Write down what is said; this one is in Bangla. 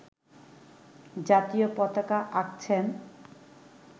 জাতীয় পতাকা আঁকছেন